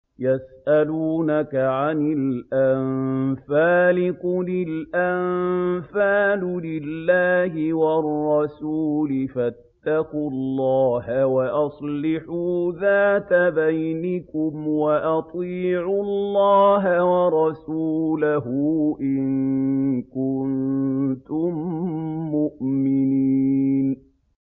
يَسْأَلُونَكَ عَنِ الْأَنفَالِ ۖ قُلِ الْأَنفَالُ لِلَّهِ وَالرَّسُولِ ۖ فَاتَّقُوا اللَّهَ وَأَصْلِحُوا ذَاتَ بَيْنِكُمْ ۖ وَأَطِيعُوا اللَّهَ وَرَسُولَهُ إِن كُنتُم مُّؤْمِنِينَ